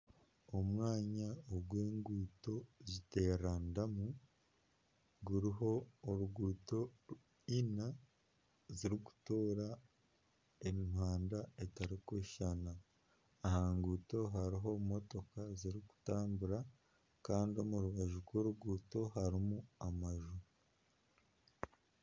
Omwanya ogu enguuto ziteeraniramu guriho enguuto Ina zirikutoora emihanda etarikushushana aha nguuto hariho emotoka zirikutambura Kandi omu rubaju rw'oruguuto hariho amaju